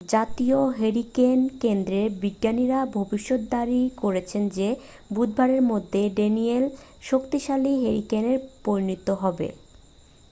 জাতীয় হ্যারিকেন কেন্দ্রের বিজ্ঞানীরা ভবিষ্যদ্বাণী করছেন যে বুধবারের মধ্যে ড্যানিয়েল শক্তিশালী হ্যারিকেনে পরিণত হবে